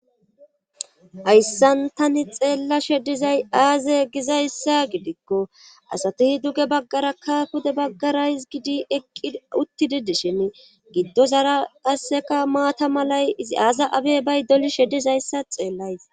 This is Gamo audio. Hayssan tani xeella shedizay aaze gizayssa gidikko asatihi duge baggara kaafude baggara iz gidi eqqi uttididishen giddo zara qasseka maata malay ii aasa abey bay doli shedizayssa xeellays.